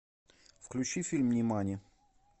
включи фильм нимани